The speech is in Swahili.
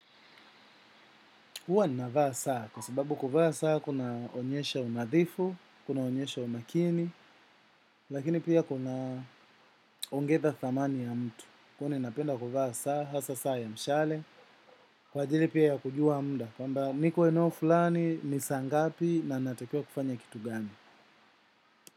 Huwa ninavaa saa, kwa sababu kuvaa saa kunaonyesha unadhifu, kunaonyesha umakini, lakini pia kunaongeza thamani ya mtu. Kwani napenda kuvaa saa, hasa saa ya mshale, kwa ajili pia ya kujua muda, kwamba niko eneo fulani ni saa ngapi na natakiwa kufanya kitu gani.